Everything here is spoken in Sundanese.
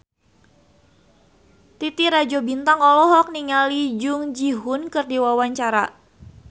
Titi Rajo Bintang olohok ningali Jung Ji Hoon keur diwawancara